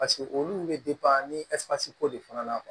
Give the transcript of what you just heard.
Paseke olu bɛ ni ko de fana na